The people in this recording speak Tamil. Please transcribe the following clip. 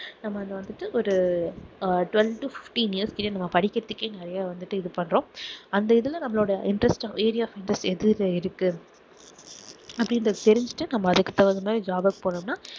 நம்ம அது வந்துட்டு ஒரு ah twelve to fifteen years கிட்ட நம்ம படிக்கிறதுக்கே நிறைய வந்துட்டு இது பண்ணுறோம் அந்த இதுல நம்மளோட interest area of interest எதுல இருக்கு அப்படின்றதை தெரிஞ்சிட்டு நாம அதுக்கு தகுந்த மாதிரி job க்கு போனோம்னா